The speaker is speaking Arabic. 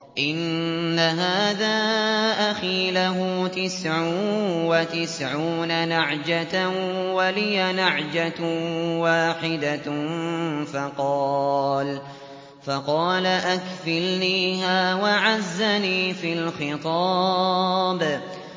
إِنَّ هَٰذَا أَخِي لَهُ تِسْعٌ وَتِسْعُونَ نَعْجَةً وَلِيَ نَعْجَةٌ وَاحِدَةٌ فَقَالَ أَكْفِلْنِيهَا وَعَزَّنِي فِي الْخِطَابِ